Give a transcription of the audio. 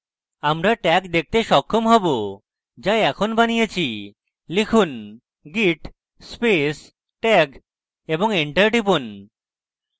আমরা tag দেখতে সক্ষম হবে যা এখন বানিয়েছি লিখুন git space tag এবং enter টিপুন